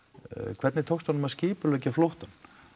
hvernig tókst honum að skipuleggja flóttann